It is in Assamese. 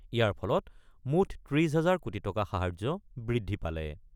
ইয়াৰ ফলত মুঠ ৩০ হাজাৰ কোটি টকা সাহায্য বৃদ্ধি পালে।